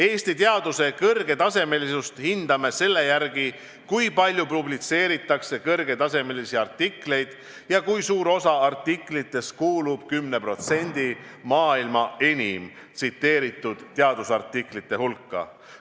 Eesti teaduse kõrgetasemelisust hindame selle järgi, kui palju publitseeritakse kõrgetasemelisi artikleid ja kui suur osa artiklitest kuulub 10% maailma enim tsiteeritud teadusartiklite hulka.